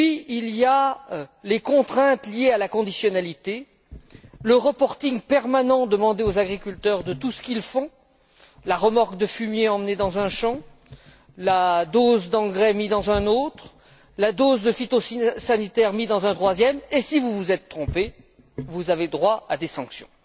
Il y a ensuite les contraintes liées à la conditionnalité, le reporting permanent demandé aux agriculteurs de tout ce qu'ils font la remorque de fumier emmenée dans un champ, la dose d'engrais mise dans un autre, la dose de phytosanitaire mise dans un troisième, et si vous vous êtes trompé, vous avez droit à des sanctions.